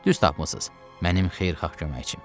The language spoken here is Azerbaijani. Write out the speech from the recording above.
Düz tapmısız, mənim xeyirxah köməkçim.